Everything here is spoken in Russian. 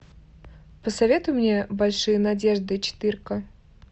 посоветуй мне большие надежды четырка